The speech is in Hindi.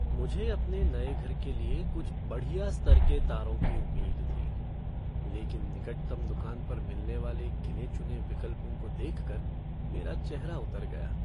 मुझे अपने नए घर के लिए कुछ बढ़िया स्तर की तारों की उम्मीद थी, लेकिन निकटतम दुकान पर मिलने वाले गिने चुने विकल्पों को देखकर मेरा चेहरा उतर गया।